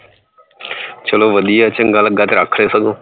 ਚਲੋ ਵਧੀਆ ਚੰਗਾ ਲੱਗਾ ਤੇ ਰੱਖ ਲਇਓ ਸਗੋਂ।